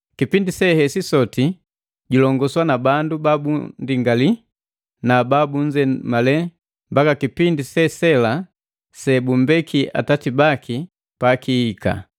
Kipindi sehesi sote julongoswa na bandu babundingali na babunzemale mbaka kipindi sesela sebumbeki atati baki kihika.